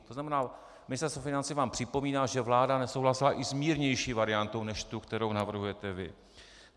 To znamená, Ministerstvo financí vám připomíná, že vláda nesouhlasila i s mírnější variantou než tou, kterou navrhujete vy.